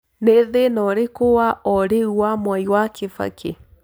nĩ thĩnaũrĩkũ wa o rĩũ wa mwai wa kibaki